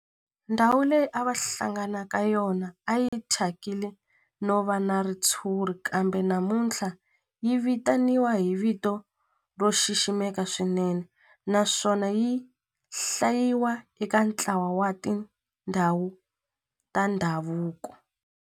Ndhawu leyi a va hlangana ka yona a yi thyakile no va na ritshuri kambe namuntlha yi vitaniwa hi vito ro xiximeka swinene naswona yi hlayiwa eka ntlawa wa tindhawu ta ndhavuko.